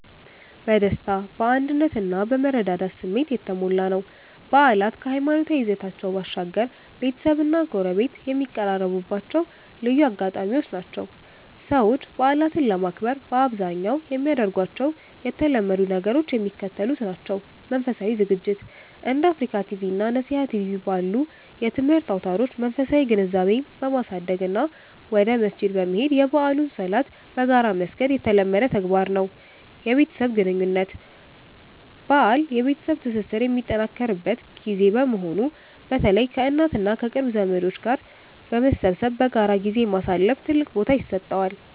በደስታ፣ በአንድነት እና በመረዳዳት ስሜት የተሞላ ነው። በዓላት ከሃይማኖታዊ ይዘታቸው ባሻገር፣ ቤተሰብና ጎረቤት የሚቀራረቡባቸው ልዩ አጋጣሚዎች ናቸው። ሰዎች በዓላትን ለማክበር በአብዛኛው የሚያደርጓቸው የተለመዱ ነገሮች የሚከተሉት ናቸው፦ መንፈሳዊ ዝግጅት፦ እንደ አፍሪካ ቲቪ እና ነሲሃ ቲቪ ባሉ የትምህርት አውታሮች መንፈሳዊ ግንዛቤን በማሳደግ እና ወደ መስጂድ በመሄድ የበዓሉን ሶላት በጋራ መስገድ የተለመደ ተግባር ነው። የቤተሰብ ግንኙነት፦ በዓል የቤተሰብ ትስስር የሚጠናከርበት ጊዜ በመሆኑ፣ በተለይ ከእናት እና ከቅርብ ዘመዶች ጋር በመሰብሰብ በጋራ ጊዜ ማሳለፍ ትልቅ ቦታ ይሰጠዋል።